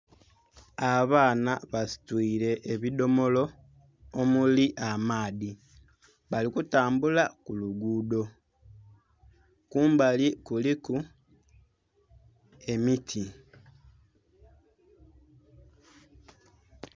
Abaana basitwire ebidhomolo omuli amaadhi balikutambula kulugudho kumbali kuliku emiti.